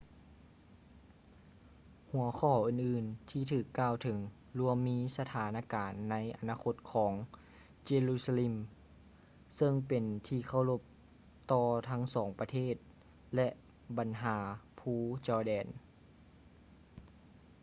ຫົວຂໍ້ອື່ນໆທີ່ຖືກກ່າວເຖິງລວມມີສະຖານະການໃນອະນາຄົດຂອງ jerusalem ເຊິ່ງເປັນທີ່ເຄົາລົບຕໍ່ທັງສອງປະເທດ ແລະ ບັນຫາພູ jordan